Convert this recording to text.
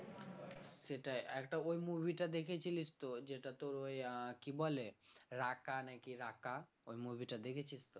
সেটাই একটা ওই movie টা দেখেছিলিস তো যেটা তোর ওই আহ কি বলে রাঁকা নাকি রাঁকা ওই movie টা দেখেছিস তো?